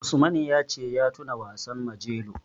Usman ya ce ya tuna wasan Majelo.